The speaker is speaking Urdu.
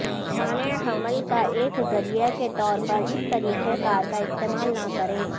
مانع حمل کا ایک ذریعہ کے طور پر اس طریقہ کار کا استعمال نہ کریں